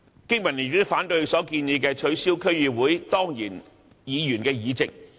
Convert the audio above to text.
經民聯亦反對他提出取消區議會當然議員議席的建議。